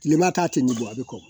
Tileba ta tɛ nin bɔ a bɛ kɔgɔ